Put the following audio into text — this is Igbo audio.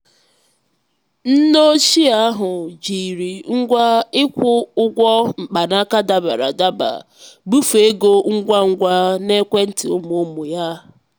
nne ochie ahụ jiri ngwa ịkwụ ụgwọ mkpanaka dabara adaba bufee ego ngwa ngwa n'ekwentị ụmụ ụmụ ya.